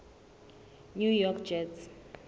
new york jets